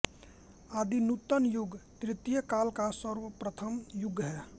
आदिनूतन युग तृतीय काल का सर्वप्रथम युग है